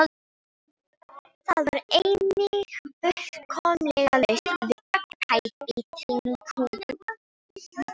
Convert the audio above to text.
Það var einnig fullkomlega laust við alla tæpitungu.